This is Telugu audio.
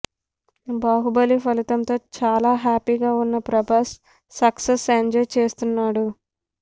బాహుబలి ఫలితంతో చాలా హ్యాపీగా ఉన్న ప్రభాస్ సక్సెస్ ఎంజాయ్ చేస్తున్నాడు